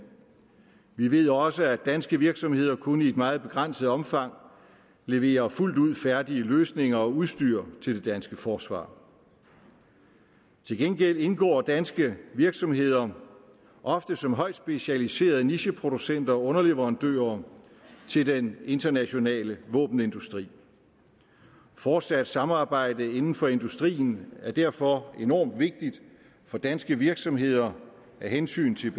vi ved også at danske virksomheder kun i et meget begrænset omfang leverer fuldt ud færdige løsninger og udstyr til det danske forsvar til gengæld indgår danske virksomheder ofte som højt specialiserede nicheproducenter og underleverandører til den internationale våbenindustri fortsat samarbejde inden for industrien er derfor enormt vigtigt for danske virksomheder af hensyn til